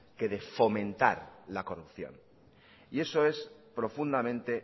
que de fomentar la corrupción eso es profundamente